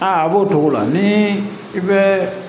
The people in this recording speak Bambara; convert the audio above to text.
Aa a b'o togo la ni i bɛ